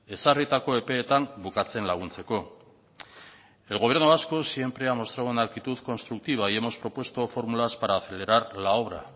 ezarritako epeetan bukatzen laguntzeko el gobierno vasco siempre ha mostrado una actitud constructiva y hemos propuesto fórmulas para acelerar la obra